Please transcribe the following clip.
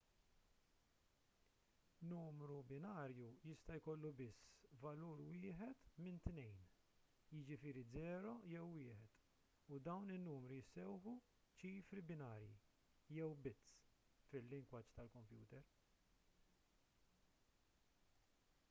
numru binarju jista' jkollu biss valur wieħed minn tnejn jiġifieri 0 jew 1 u dawn in-numri jissejħu ċifri binarji jew bits fil-lingwaġġ tal-kompjuter